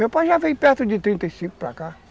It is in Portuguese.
Meu pai já veio perto de trinta e cinco para cá.